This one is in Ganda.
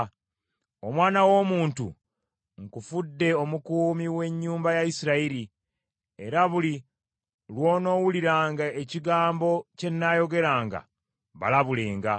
“Omwana w’omuntu, nkufudde omukuumi w’ennyumba ya Isirayiri, era buli lw’onoowuliranga ekigambo kye nnaayogeranga, balabulenga.